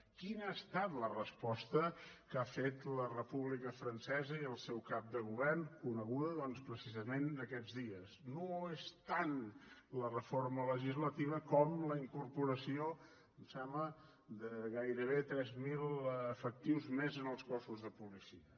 quina ha estat la resposta que ha fet la república francesa i el seu cap de govern coneguda doncs precisament aquests dies no és tant la reforma legislativa com la incorporació em sembla de gairebé tres mil efectius més en els cossos de policia